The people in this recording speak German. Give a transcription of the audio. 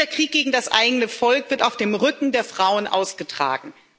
Dieser Krieg gegen das eigene Volk wird auf dem Rücken der Frauen ausgetragen.